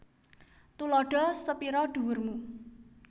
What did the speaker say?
Tuladha sepira dhuwur mu